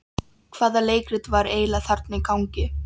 Hvaða leikrit var eiginlega þarna í gangi?